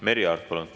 Merry Aart, palun!